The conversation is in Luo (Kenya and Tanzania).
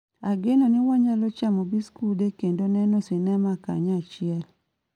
Ageno ni wanyalo chamo biskude kendo neno sinema kanyachiel